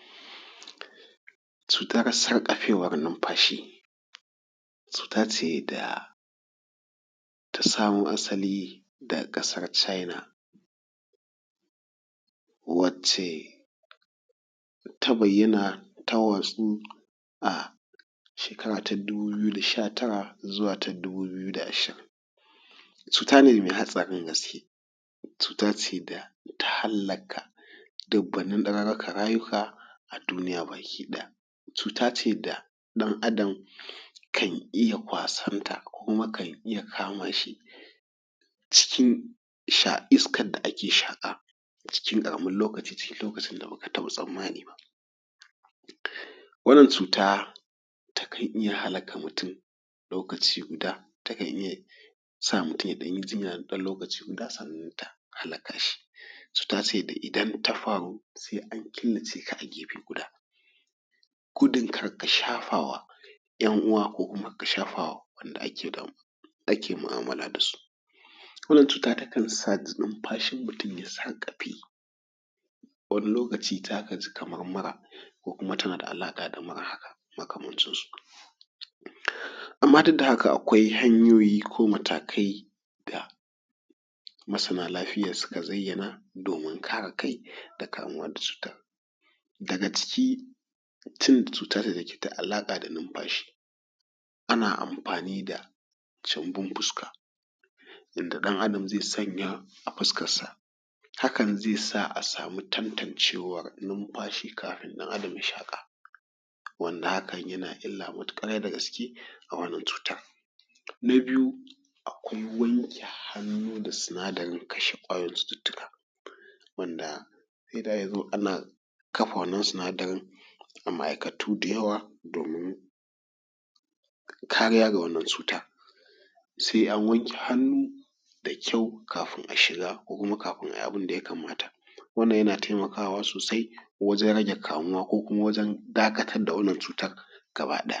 Cutar sarƙafewar numfashi, cuta ce da ta samo asali daga ƙasar china wanda ita ce ta bayyana ta watsu a shekara ta dubu biyu da sha tara zuwa shekara ta dubu biyu da ashirin. Cuta ce mai hatsarin gaske, cuta ce da ta hallaka dubbanin darurukan rayuka a duniya baki ɗaya. Cuta ce da ɗan adam kan iya kwasarta kan iya kama shi cikin iskar da ake shaƙa cikin ƙaramin lokaci ko lokacin da ba ka taɓa tsammani ba. Wannan cuta takan iya halaka mutum lokaci guda da yake sa mutum ya ɗan yi jinya kaɗan na ɗan lokaci sannan ta hallaka shi. Cuta ce da idan ta faru sai an killace ka gefe guda, gudun kar ka shafa wa ƴan uwa ko wanda ake damu ko ake mu'amala da su. Wannan cuta takan sa numfashin mutum ya sarƙafe za ka ji kamar mura ko kuma tana da alaƙa da alamura haka makamancinsu. Amma duk da haka, akwai hanyoyi ko matakai da masana lafiya suka zayyana domin kare kai da kamuwa da cuta, daga ciki cuta dake da alaƙa da cutar numfashi ana amfani da gyambun fuska inda ɗan adam zai sanya a fuskarsa hakan zai sa a sama tantancewa numfashi kafi ɗan adam ya zaɓa din ya na illa matuƙa da gaske a wannan cutar. Na biyu ruwan wanke hannu da sinadarin kashe kwayoyin cututtuka wanda sai da ya zo ana kafa wannan sinadarin a ma'aikatu da yawa domin kariya daga wannan cutar. Sai an wanke hannu da ƙyau kafin a shiga ko a yi abun da ya kamata, wannan yana taimakawa sosai wajen rage kamuwa ko kuma wajen dakatawar da wannan cutar ɗaya.